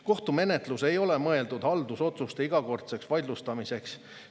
Kohtumenetlus ei ole mõeldud haldusotsuste igakordseks vaidlustamiseks.